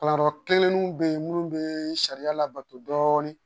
Kalanyɔrɔ kelenninw be yen munnu be sariya labato dɔɔnin